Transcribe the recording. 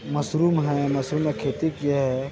Mushroom है mushroom का खेती किया है।